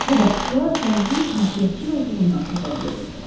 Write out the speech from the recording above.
Bu baxışlar gəncin ünsiyyətcil olduğundan xəbər verirdi.